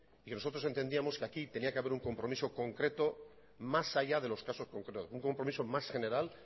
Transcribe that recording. que nosotros entendíamos que aquí tenía que haber un compromiso concreto más allá de los casos concretos un compromiso más general